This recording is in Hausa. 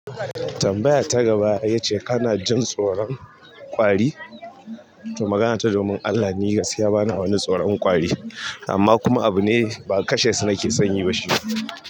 Tambaya ta gaba ya ce kana jin tsoron ƙwari? To magana ta, domin Allah ni gaskiya bana wani tsoron kwari, amma kuma abu ne ba kashe su na ke son yi ba shi.